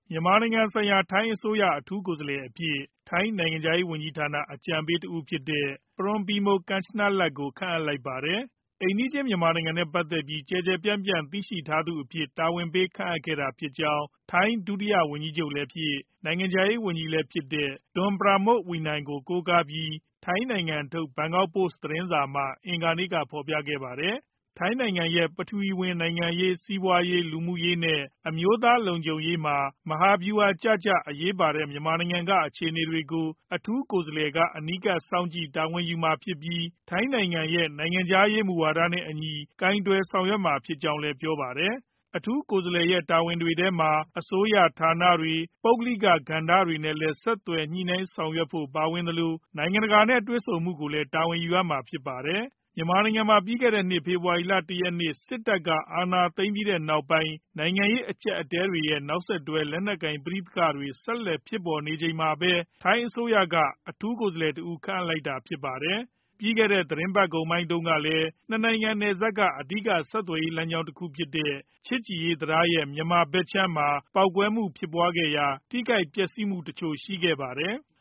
မြန်မာနိုင်ငံဆိုင်ရာ အထူးကိုယ်စားလှယ်အဖြစ် ထိုင်းနိုင်ငံခြားရေးဝန်ကြီးဌာန အကြံပေးတဦးဖြစ်တဲ့ Ms Pornpimol Kanchanalak ကို ခန့်အပ်လိုက်ပါတယ်။ အိမ်နီးချင်း မြန်မာနိုင်ငံနဲ့ ပတ်သက်ပြီး ကျယ်ကျယ်ပြန့်ပြန့် သိရှိထားသူအဖြစ် တာဝန်ပေးအပ်ခဲ့တာဖြစ်ကြောင်း ထိုင်း ဒုတိယဝန်ကြီးချုပ်လည်းဖြစ်၊ နိုင်ငံခြားရေးဝန်ကြီးလည်းဖြစ်တဲ့ Don Pramudwinai ကို ကိုးကားပြီး ထိုင်းနိုင်ငံထုတ် ဘန်ကောက်ပို့စ် သတင်းစာက အင်္ဂါနေ့မှာပဲ ဖော်ပြခဲ့တာပါ ထိုင်းနိုင်ငံရဲ့ ပထဝီဝင်နိုင်ငံရေး၊ စီးပွားရေး၊ လူမှုရေးနဲ့ အမျိုးသားလုံခြုံရေးမှာ မဟာဗျုဟာကျကျ အရေးပါတဲ့ မြန်မာနိုင်ငံက အခြေအနေတွေကို အထူးကိုယ်စားလှယ်က အနီးကပ်စောင့်ကြည့် တာဝန်ယူမှာဖြစ်ပြီး ထိုင်းနိုင်ငံရဲ့ နိုင်ငံခြားရေး မူဝါဒနဲ့အညီ ကိုင်တွယ်ဆောင်ရွက်မှာ ဖြစ်ကြောင်းလည်း ပြောပါတယ်။ အထူးကိုယ်စားလှယ်ရဲ့ တာဝန်တွေထဲမှာ အစိုးရဌာနတွေ၊ ပုဂ္ဂလိကကဏ္ဍတွေနဲ့လည်း ဆက်သွယ် ညှိနှိုင်းဆောင်ရွက်ဖို့တွေ ပါဝင်သလို၊ နိုင်ငံတကာနဲ့ တွေ့ဆုံမှုတွေကိုလည်း တာဝန်ယူရမှာပါ။ မြန်မာနိုင်ငံမှာ ပြီးခဲ့တဲ့နှစ် ဖေဖော်ဝါရီလ ၁ ရက်နေ့ စစ်တပ်က အာဏာသိမ်းလိုက်ပြီးနောက်ပိုင်း နိုင်ငံရေး အကျပ်အတည်းတွေနဲ့ နောက်ဆက်တွဲ လက်နက်ကိုင် ပဋိပက္ခတွေ ဆက်လက် ပေါ်ပေါက်နေချိန်မှာပဲ ထိုင်းအစိုးရက အထူးကိုယ်စားလှယ်တဦး ခန့်အပ်လိုက်တာလည်း ဖြစ်ပါတယ်။ ပြီးခဲ့တဲ့ သီတင်းပတ်ကုန်မှာတုန်းကလည်း ၂ နိုင်ငံ နယ်စပ်က အဓိက ဆက်သွယ်ရေးလမ်းကြောင်း တခုဖြစ်တဲ့ ချစ်ကြည်ရေးတံတားရဲ့ မြန်မာဖက်ခြမ်းမှာ ပေါက်ကွဲမှုဖြစ်ပွားရာက ထိခိုက်ပျက်စီးမှုတချို့ ရှိခဲ့ပါတယ်။